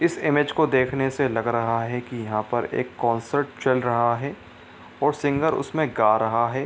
इस इमेज को देखने से लग रहा है की यहाँ पर एक कॉन्सर्ट चल रहा है और सिंगर उसमें गा रहा है।